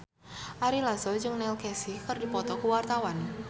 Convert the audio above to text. Ari Lasso jeung Neil Casey keur dipoto ku wartawan